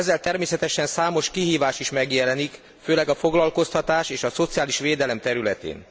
Ezzel természetesen számos kihívás is megjelenik, főleg a foglalkoztatás és a szociális védelem területén.